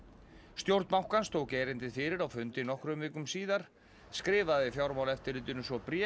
stjórn bankans tók erindið fyrir á fundi nokkrum vikum síðar skrifaði Fjármálaeftirlitinu svo bréf